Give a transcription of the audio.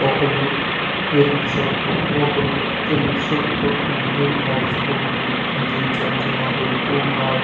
ఒకళ్ళు ఎరుపు షర్టు ఒకళ్ళు తెలుపు షర్టు ఇద్దరు నడుచుకుంటూ బీచ్ అంచున వెళ్తూ ఉన్నారు.